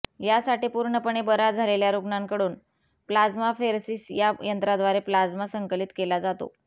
यासाठी पूर्णपणे बऱ्या झालेल्या रुग्णाकडून प्लाझ्माफेरसिस या यंत्राद्वारे प्लाझ्मा संकलित केला जातो